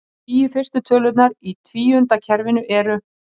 Tíu fyrstu tölurnar í tvíundakerfinu eru: